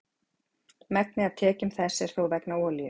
megnið af tekjum þess er þó vegna olíu